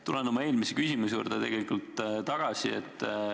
Tulen oma eelmise küsimuse juurde tagasi.